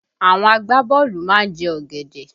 Àwọn agbaboolu má ń jẹ ọ̀gẹ̀dẹ̀